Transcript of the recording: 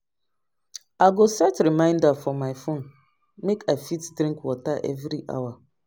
I go set reminder for my phone make I fit drink water every hour.